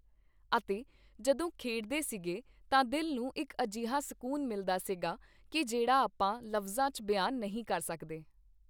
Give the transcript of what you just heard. ਅਤੇ ਜਦੋਂ ਖੇਡਦੇ ਸੀਗੇ ਤਾਂ ਦਿਲ ਨੂੰ ਇੱਕ ਅਜਿਹਾ ਸਕੂਨ ਮਿਲਦਾ ਸੀਗਾ ਕੀ ਜਿਹੜਾ ਆਪਾਂ ਲਫ਼ਜਾਂ 'ਚ ਬਿਆਨ ਨਹੀਂ ਕਰ ਸਕਦੇ